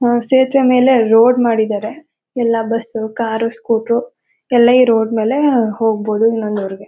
ಅಹ್ ಸೇತುವೆ ಮೇಲೆ ರೋಡ್ ಮಾಡಿದ್ದಾರೆ ಎಲ್ಲ ಬಸ್ಸು ಕಾರು ಸ್ಕೂಟರ್ ಎಲ್ಲ ಈ ರೋಡ್ ಮೇಲೆ ಹೋಗ್ಬಹುದು.